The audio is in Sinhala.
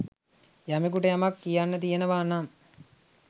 යමකුට යමක් කියන්න තියෙනවා නම්